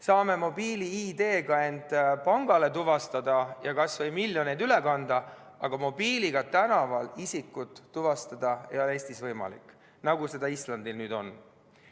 Saame mobiil-ID-ga end pangas tuvastada ja kas või miljoneid üle kanda, aga mobiiliga tänaval isikut tuvastada ei ole Eestis võimalik, nagu see Islandil nüüd on.